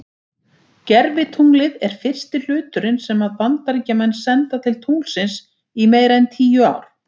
Gervitunglið er fyrsti hluturinn sem að Bandaríkjamenn senda til tunglsins í meira en tíu ár.